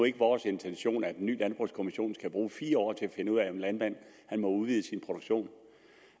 ikke vores intention at en ny landbrugskommission skal bruge fire år til at finde ud af om en landmand må udvide sin produktion